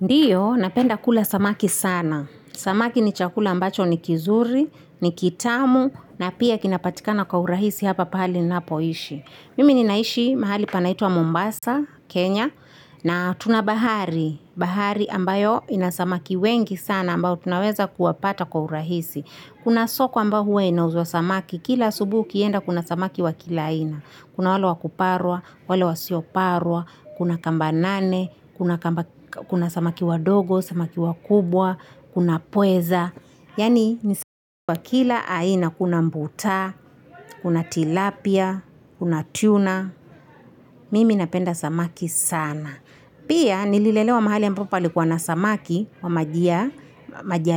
Ndiyo, napenda kula samaki sana. Samaki ni chakula ambacho ni kizuri, ni kitamu, na pia kinapatikana kwa urahisi hapa pahali ninapo ishi. Mimi ninaishi mahali panaitwa Mombasa, Kenya, na tuna bahari. Bahari ambayo inasamaki wengi sana ambayo tunaweza kuwapata kwa urahisi. Kuna soko ambao huwa inauzwa samaki. Kila asubuhi ukienda kuna samaki wa kila aina. Kuna wale wakuparwa, wale wasioparwa, kuna kamba nane, kuna samaki wa dogo, samaki wa kubwa, kuna pweza. Yani ni samaki wa kila aina kuna mbutaa, kuna tilapia, kuna tuna. Mimi napenda samaki sana. Pia nililelewa mahali ambapo palikuwa na samaki ambao si wa maji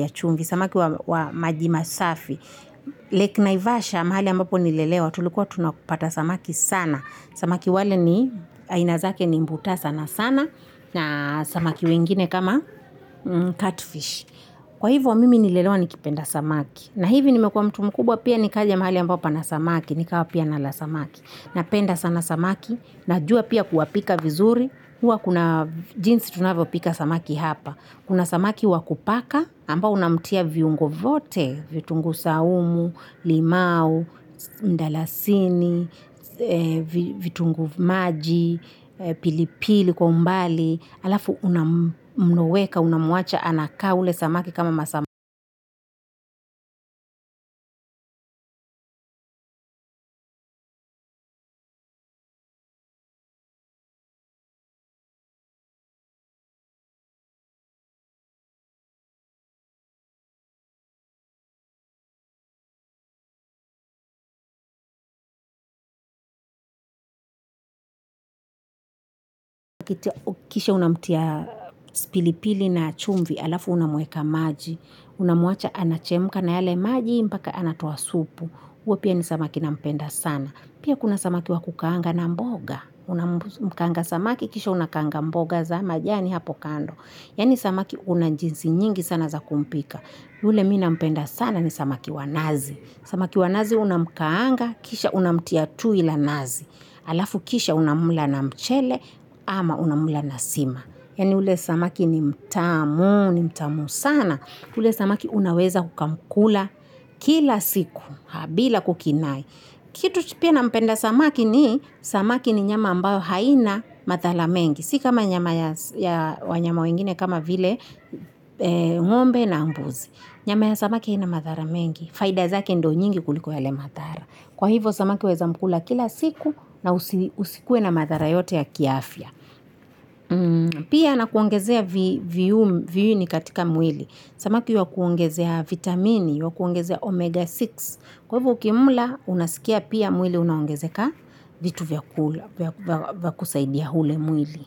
ya chumvi, samaki wa maji masafi. Lake Naivasha mahali ambapo nilelewa tulikuwa tunapata samaki sana. Samaki wale ni aina zake ni mbuta sana sana. Na samaki wengine kama cutfish. Kwa hivo mimi nililelewa nikipenda samaki. Na hivi nimekuwa mtu mkubwa pia nikaja mahali ambapo pana samaki. Nikawa pia nala samaki. Napenda sana samaki. Najua pia kuwapika vizuri. Huwa kuna jinsi tunavyo pika samaki hapa. Kuna samaki wakupaka ambao unamtia viungo vyote, vitungu saumu, limau, mdalasini, vitunguu maji, pilipili kwa umbali. Alafu unamweka, unamuacha anaka ule samaki kama masaa ma, kisha unamtia pilipili na chumvi, alafu unamueka maji, unamuacha anachemuka na yale maji, mpaka anatoa supu, huwa pia ni samaki na mpenda sana. Pia kuna samaki wakukaanga na mboga, unamukaanga samaki, kisha unakanga mboga za majani hapo kando. Yani samaki unajinsi nyingi sana za kumpika. Yule mina mpenda sana ni samaki wanazi. Samaki wanazi unamukaanga, kisha unamtia tui la nazi. Alafu kisha unamla na mchele ama unamla na sima. Yani ule samaki ni mtamu, ni mtamu sana. Ule samaki unaweza ukamkula kila siku, bila kukinai. Kitu pia na mpenda samaki ni samaki ni nyama ambayo haina mathala mengi. Sikama nyama ya wanyama wengine kama vile ngombe na mbuzi. Nyama ya samaki haina mathala mengi. Faida zake ndo nyingi kuliko yale mathala kwa hivyo samaki waeza mkula kila siku na usikue na mathala yote ya kiafya pia anakuongezea viini katika mwili samaki ywa kuongezea vitamini ywa kuongezea omega sita kwa hivo ukimla unasikia mwili unaongezeka vitu vya kusaidia hule mwili.